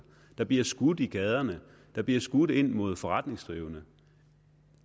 der bliver skudt i gaderne der bliver skudt ind mod forretningsdrivende